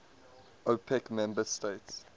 opec member states